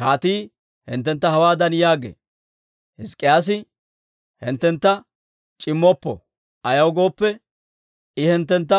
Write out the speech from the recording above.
Kaatii hinttentta hawaadan yaagee; ‹Hizk'k'iyaasi hinttentta c'immoppo; ayaw gooppe, I hinttentta